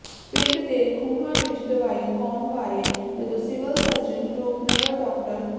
ਪਿੰਡ ਦੇ ਖੂਹਾਂ ਵਿੱਚ ਦਵਾਈ ਪਾਉਣ ਵਾਰੇ ਜਦੋਂ ਸਿਵਲ ਸਰਜਨ ਰੂਪਨਗਰ ਡਾ